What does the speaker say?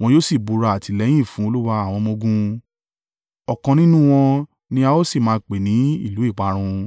wọn yóò sì búra àtìlẹ́yìn fún Olúwa àwọn ọmọ-ogun. Ọ̀kan nínú wọn ni a ó sì máa pè ní ìlú ìparun.